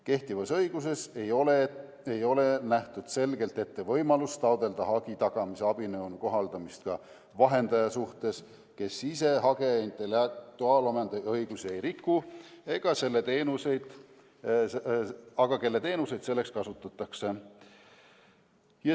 Kehtivas õiguses ei ole selgelt ette nähtud võimalust taotleda hagi tagamise abinõu kohaldamist ka vahendaja suhtes, kes ise hageja intellektuaalomandiõigusi ei riku, aga kelle teenuseid selleks kasutatakse.